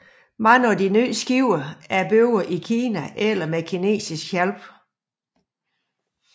Mange af de nyere skibe er bygget i Kina eller med kinesisk hjælp